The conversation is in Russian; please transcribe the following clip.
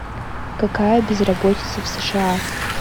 какая безработица в сша